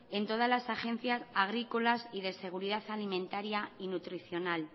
en todas las agencias agrícolas y de seguridad alimentaria y nutricional